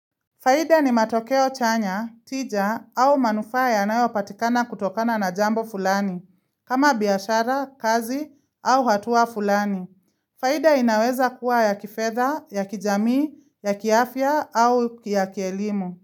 Faida ni matokeo chanya, tija au manufaa yanayo patikana kutokana na jambo fulani, kama biashara, kazi au hatua fulani. Faida inaweza kuwa ya kifedha, ya kijamii, ya kiafia au ya kielimu.